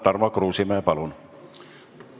Tarmo Kruusimäe, palun!